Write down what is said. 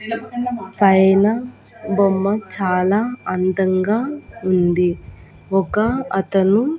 పైన బొమ్మ చాలా అందంగా ఉంది ఒక అతను.